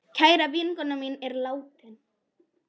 Kær vinkona mín er látin.